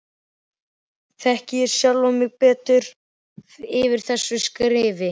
Þekki ég sjálfan mig betur eftir þessi skrif?